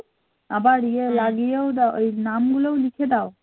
আবার ইয়ে লাগিয়েও দাও নামগুলো লিখে দাও